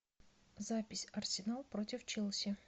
запись арсенал против челси